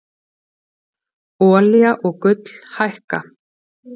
Olía og gull hækka